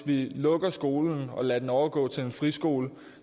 lukker skolen og lader den overgå til en friskole